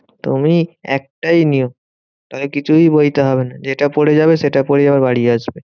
তুমি একটাই নিও। তাহলে কিছুই বইতে হবে না। যেটা পরে যাবে সেটা পরে আবার বাড়ি আসবে।